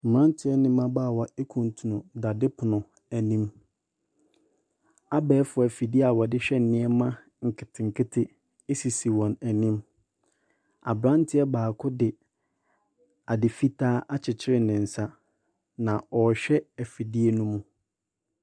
Mmerante ne mmabaawa kuntunu dadepono bi anim. Abɛɛfo afide a wɔde hwɛ nneɛma nketenkete sisi wɔn anim. Aberanteɛ baako de ade fitaa akyekyere ne nsa na ɔrehwɛ afidie ne mu.